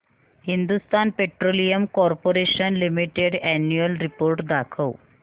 Hindustan petroleum corporation limited annual report दाखव